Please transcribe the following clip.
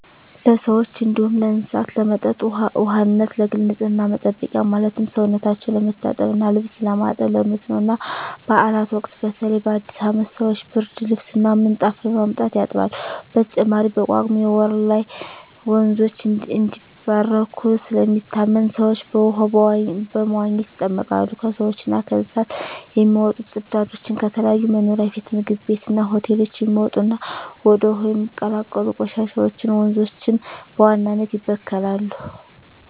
ለሰዎች እንዲሁም ለእስሳት ለመጠጥ ውሃነት፣ ለግል ንፅህና መጠበቂያ ማለትም ሰውነታቸው ለመታጠብ እና ልብስ ለማጠብ፣ ለመስኖ እና ባእላት ወቅት በተለይ በአዲስ አመት ሰወች ብርድልብስ እና ምንጣፍ በማምጣት ያጥባሉ። በተጨማሪም በጳጉሜ ወር ላይ ወንዞች እንደሚባረኩ ስለሚታመን ሰወች በውሃው በመዋኘት ይጠመቃሉ። ከሰውች እና ከእንስሳት የሚወጡ ፅዳጆች፣ ከተለያዩ መኖሪያ ቤት ምግብ ቤት እና ሆቴሎች የሚወጡ እና ወደ ውሀው የሚቀላቀሉ ቆሻሻወች ወንዞችን በዋናነት ይበክላሉ።